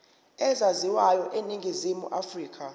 ezaziwayo eningizimu afrika